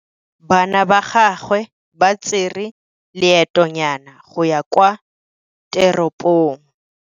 Bana ba gagwe ba tsere loêtônyana go ya kwa teropong.